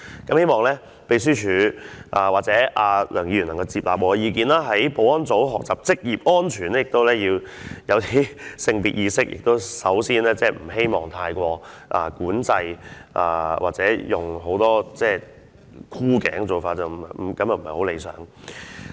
我希望秘書處和梁議員能夠接納我的意見，保安人員學習職業安全也要有性別意識，不應該作出太多管制或採取太多箍頸的做法，這些都是不理想的。